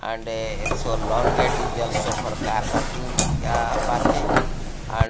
and a so long uh parking and --